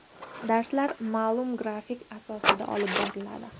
Darslar ma’lum grafik asosida olib boriladi.